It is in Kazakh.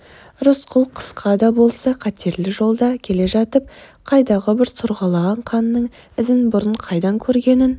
рысқұл қысқа да болса қатерлі жолда келе жатып қайдағы бір сорғалаған қанның ізін бұрын қайдан көргенін